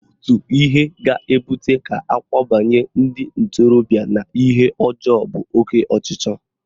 Otu ihe ga-ebute ka akwabanye ndị ntorobịa n'ihe ọjọọ bụ oke ọchịchọ